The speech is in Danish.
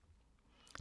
DR1